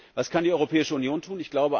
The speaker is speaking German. Was kann die Europäische Union tun?